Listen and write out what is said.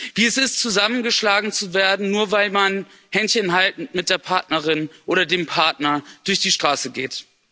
Wie es ist, zusammengeschlagen zu werden, nur weil man händchenhaltend mit der Partnerin oder dem Partner durch die Straße geht.